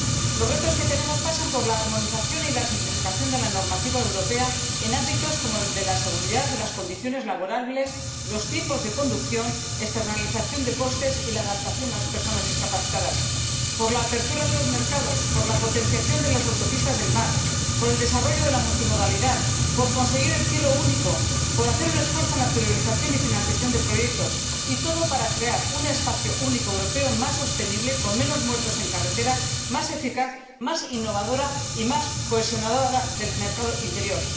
Los retos que tenemos pasan por la armonización y la simplificación de la normativa europea en ámbitos como el de la seguridad, las condiciones laborales, los tiempos de conducción, la externalización de los costes y la adaptación a las personas discapacitadas, por la apertura de los mercados, por la potenciación de las autopistas del mar, por el desarrollo de la multimodalidad, por conseguir el Cielo Único, por hacer un esfuerzo en la priorización y financiación de proyectos, y todo para crear un espacio único europeo más sostenible, con menos muertos en carretera, más eficaz, más innovador y más cohesionador del mercado interior.